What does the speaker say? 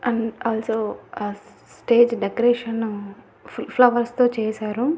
And also ఆ stage decoration flowers తో చేశారు.